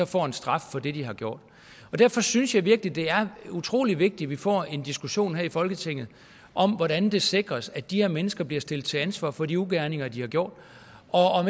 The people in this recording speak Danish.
får en straf for det de har gjort derfor synes jeg virkelig at det er utrolig vigtigt at vi får en diskussion her i folketinget om hvordan det sikres at de her mennesker bliver stillet til ansvar for de ugerninger de har gjort